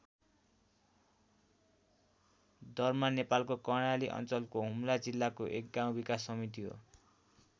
दर्मा नेपालको कर्णाली अञ्चलको हुम्ला जिल्लाको एक गाउँ विकास समिति हो।